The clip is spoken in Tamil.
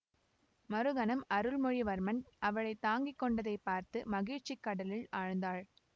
மறுகணம் அருள்மொழிவர்மன் அவளை தாங்கி கொண்டதைப் பார்த்து மகிழ்ச்சி கடலில் ஆழ்ந்தாள்